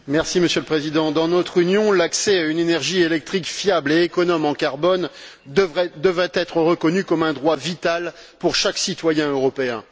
Monsieur le Président, dans notre Union, l'accès à une énergie électrique fiable et économe en carbone devrait être reconnu comme un droit vital pour chaque citoyen européen.